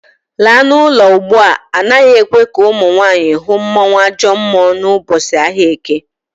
Laa n'ulo ugbua! Anaghị ekwe ka ụmụnwaanyị hụ mmụọnwAjọmmụọ n'ụbọchị ahịa Eke